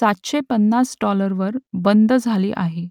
सातशे पन्नास डाॅलरवर बंद झाली आहे